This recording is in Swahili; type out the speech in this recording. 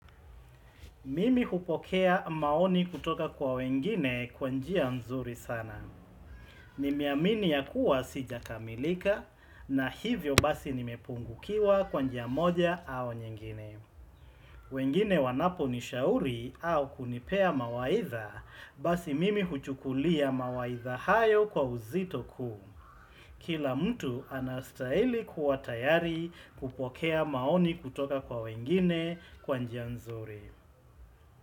Mimi hupokea maoni kutoka kwa wengine kwa njia nzuri sana. Nimeamini ya kuwa sijakamilika na hivyo basi nimepungukiwa kwa njia moja au nyingine. Wengine wanaponishauri au kunipea mawaidha basi mimi huchukulia mawaidha hayo kwa uzito kuu. Kila mtu anastahili kuwa tayari kupokea maoni kutoka kwa wengine kwa njia nzuri.